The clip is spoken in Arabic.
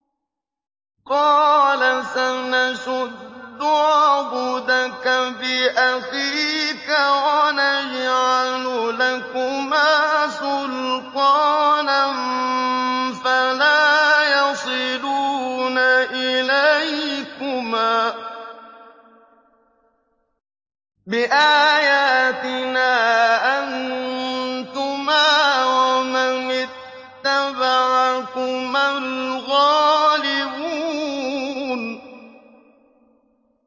قَالَ سَنَشُدُّ عَضُدَكَ بِأَخِيكَ وَنَجْعَلُ لَكُمَا سُلْطَانًا فَلَا يَصِلُونَ إِلَيْكُمَا ۚ بِآيَاتِنَا أَنتُمَا وَمَنِ اتَّبَعَكُمَا الْغَالِبُونَ